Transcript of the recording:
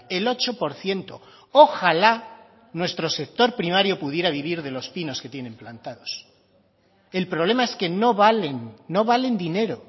el ocho por ciento ojalá nuestro sector primario pudiera vivir de los pinos que tienen plantados el problema es que no valen no valen dinero